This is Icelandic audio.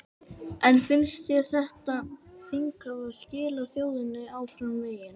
En finnst þér þetta þing hafa skilað þjóðinni áfram veginn?